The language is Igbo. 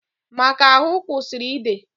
Maka ahụ kwụsịrị ịde